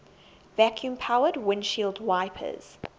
vacuum powered windshield wipers